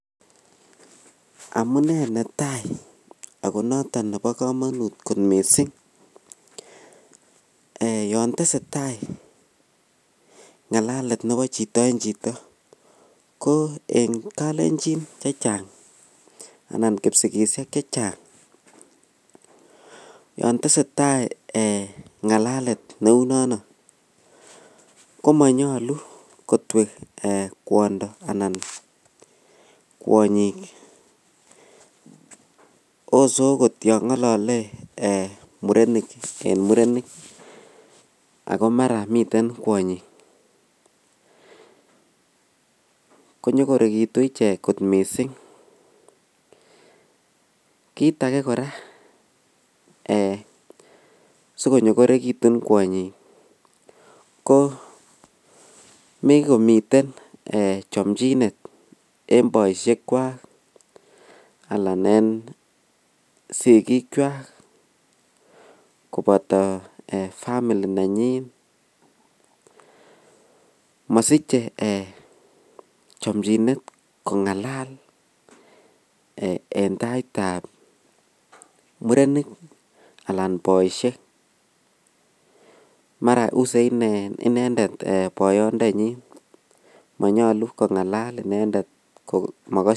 Amun netai ak netai nebo kamanut missing yon tesetai ngalalet nebo chito en chito ko en kalenjin chechang anan kisigisiek chechang yontesetai ngalalet neu nano komonyolu kotuwek kwondo ana kwonyik ose agot yon ngolole murenik en murenik ago mara miten kwonyik konyoritun ichek missing kiit age kora eh asikonyokorekitun kwanyik ko mikomiten chomchinet en boisiek kwak anan en sikik kwak koboto family nenyin mosichi chomchinet kongalal en tait tab murenik anan kobiisiek maran inendet kouset boyot nenyin komanyalu kongalal inendet ??